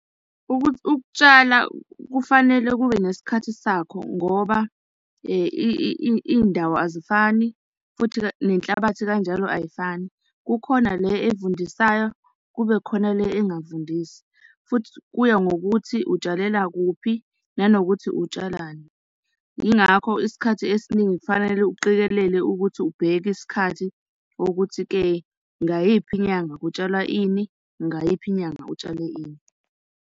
Ukutshala kufanele kube nesikhathi sakho ngoba iy'ndawo azifani futhi-ke nenhlabathi kanjalo ayifani. Kukhona le evundisayo, kube khona le engafundisi. Futhi kuya ngokuthi utshalela kuphi nanokuthi utshalani. Yingakho isikhathi esiningi kufanele uqikelele ukuthi ubheke isikhathi ukuthi-ke, ngayiphi inyanga kutshalwa ini? Ngayiphi inyanga utshale ini?